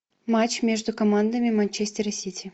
матч между командами манчестер и сити